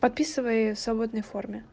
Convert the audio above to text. подписывай в свободной форме